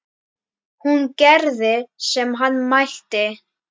Hún gerði sem hann mælti.